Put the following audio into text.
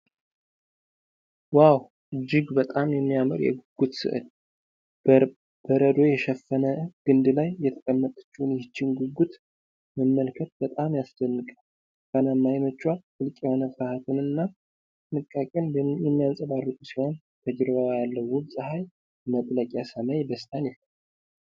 ዋው! እጅግ በጣም የሚያምር የጉጉት ስዕል! በረዶ የሸፈነ ግንድ ላይ የተቀመጠችውን ይህችን ጉጉት መመልከት በጣም ያስደንቃል። ብርቱካናማ ዓይኖቿ ጥልቅ የሆነ ፍርሃትን እና ጥንቃቄን የሚያንጸባርቁ ሲሆን፣ ከጀርባዋ ያለው ውብ የፀሐይ መጥለቂያ ሰማይ ደስታን ይፈጥራል።